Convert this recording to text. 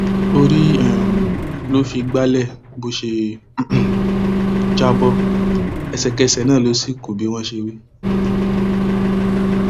orí um ló fi gbalẹ bó ṣe um já bo ẹsẹkẹsẹ náà ló sì kù bí wọn ṣe wí